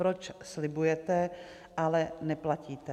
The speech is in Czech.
Proč slibujete, ale neplatíte?